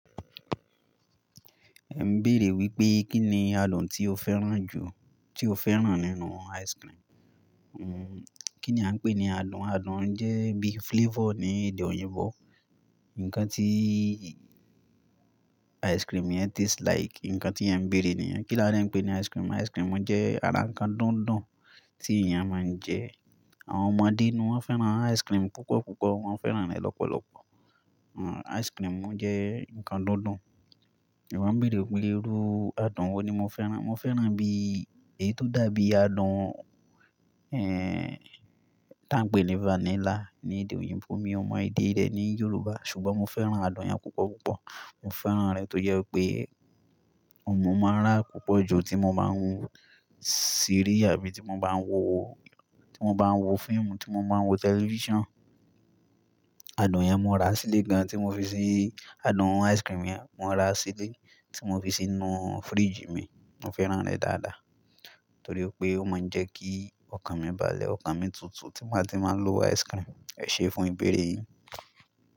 Ẹ n béèrè wípé, Kí ni adùn tí o fẹ́ràn jú tí o fẹ́ràn nínú ice cream? Kí ni a ń pè ní adùn? Adùn jẹ́ bí flavour ní èdè òyìnbó. Ǹkan tíí ice cream yẹn taste like. Ǹkan tí é ń bèèrè nìyẹn. Kí la dè ń pè ní ice cream? Ice cream jẹ́ ara ǹkan dùndún tí èèyàn máa ń jẹ. Àwọn ọmọdé ni wọ́n fẹ́ràn ice cream púpọ̀ púpọ̀. Wọ́n fẹ́ràn rẹ̀ lọ́pọ̀lọpọ̀. Ice cream jẹ ǹkan dùndún. Ìwọ ń bèèrè wípé irú adùn wo ni mo fẹ́ràn. Mo fẹ́ràn bí, èyí tó dàbí adùn, ta ń pè ní vanilla ní èdè òyìnbó. Mi ò mọ èdè rẹ ní Yorùbá, ṣùgbọ́n mo fẹ́ràn adùn yẹn púpọ̀ púpọ̀. Mo fẹ́ràn rẹ̀ tó jé wí pé oun ní màá rà púpọ̀ ju tí mo bá ń ṣeré àbí tí mo bá ń wo, tí mo bá ń wo fíìmù, tí mo bá ń wo tẹlifíṣàn. Adùn yẹn mo rà sílé gan tí mo fi sí, adùn ice cream yẹn mo rà sílé tí mo fi sínú fridge mi. Mo fẹ́ràn rẹ̀ dáadáa torí pé ó máa ń jẹ́ kí ọkàn mi balẹ̀, ọkàn mi tutù tí máa ti máa lo ice cream. Ẹ̀ṣe fún ìbéèrè yín.